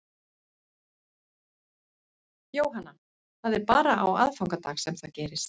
Jóhanna: Það er bara á aðfangadag sem það gerist?